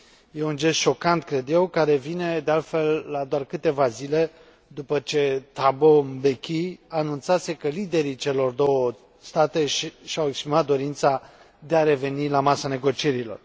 E un gest șocant, cred eu, care vine de altfel la doar câteva zile după ce Thabo Mbeki anunțase că liderii celor două state și au exprimat dorința de a reveni la masa negocierilor.